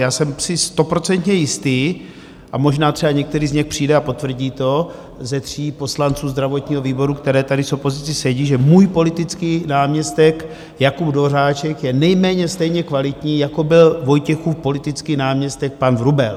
Já jsem si stoprocentně jistý a možná třeba některý z nich přijde a potvrdí to, ze tří poslanců zdravotního výboru, kteří tady s opozicí sedí, že můj politický náměstek Jakub Dvořáček je nejméně stejně kvalitní, jako byl Vojtěchův politický náměstek pan Vrubel.